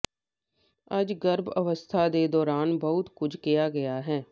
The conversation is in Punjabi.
ਅੱਜ ਗਰਭ ਅਵਸਥਾ ਦੇ ਦੌਰਾਨ ਬਹੁਤ ਕੁਝ ਕਿਹਾ ਗਿਆ ਹੈ